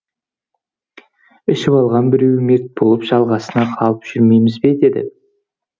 ішіп алған біреуі мерт болып жаласына қалып жүрмейміз бе деді